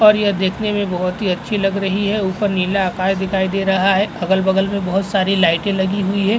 और यह देखने मे बोहोत ही लग अच्छी लग रही है। ऊपर नीला आकाश दिखाई दे रहा है। अगल -बगल में बोहोत सारी लाइटें लगी हुई है।